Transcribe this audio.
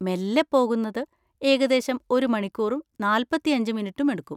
മെല്ലെ പോകുന്നത് ഏകദേശം ഒരു മണിക്കൂറും നാൽപ്പത്തിയഞ്ച് മിനിറ്റും എടുക്കും.